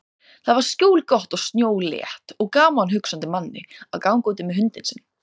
Þar var skjólgott og snjólétt og gaman hugsandi manni að ganga úti með hundinn sinn.